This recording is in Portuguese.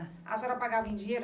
A senhora pagava em dinheiro?